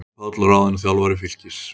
Jón Páll ráðinn þjálfari Fylkis